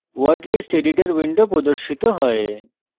word list editor window প্রদর্শিত হয়